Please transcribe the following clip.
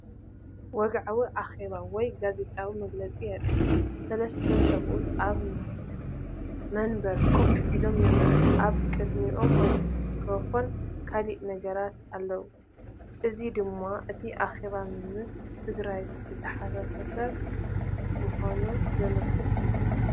ወግዓዊ ኣኼባ ወይ ጋዜጣዊ መግለጺ የርኢ። ሰለስተ ሰብኡት ኣብ መንበር ኮፍ ኢሎም ይረኣዩ። ኣብ ቅድሚኦም ማይክሮፎንን ካልእ ነገራትን ኣሎ። እዚ ድማ እቲ ኣኼባ ምስ ትግራይ ዝተኣሳሰረ ምዃኑ ዘመልክት እዩ።